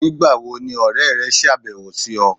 Nígbà wo ni ọ̀rẹ̀ rẹ̀ ṣáàbẹ̀wò sí ọ̀?